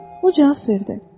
O cavab verdi: